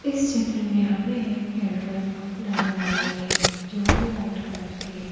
इस चित्र में हमें एक पेट्रोल पंप नजर आ रही है जो कि वाइट कलर की है।